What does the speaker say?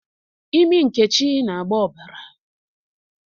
Imi Nkechi na-agba ọbara